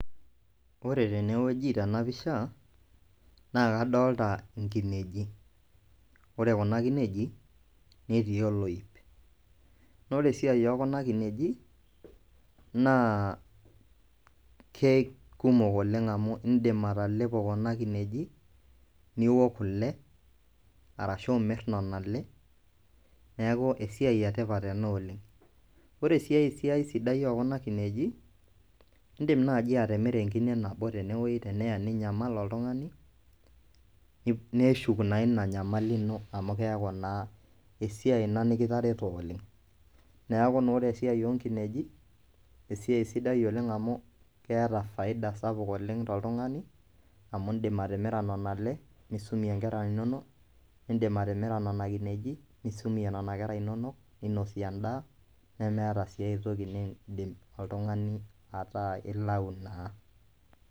Ore tene wueji tena pisha naa kadolta inkinejik, ore kuna kinejik netii oloip naa ore esiai oo kuna kinejik naa ke kumok oleng' amu iindim atalepo kuna kinejik niwok kule arashu imir nona ale, neeku esiai e tipat ena oleng'. Ore sii ai siai sidai oo kuna kinejik, iindim naaji atimira enkine nabo tene woi teneya ninyamal oltung'ani, neshuk naa ina nyamali ino amu keeku naa esiai ina ekitareto oleng'. Neeku naa ore esiai oo nkinejik esiai sidai oleng' amu keeta faida sapuk oleng' toltung'ani amu iindim atimira nona ale nisumie nkera inonok, iindim atimira nona kinejik nisumie nena kera inonok, ninosie endaa nemeeta sii ai toki niindim oltung'ani ataa ilau naa.